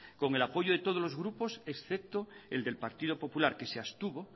con el apoyo de todos los grupos excepto el del partido popular que se abstuvo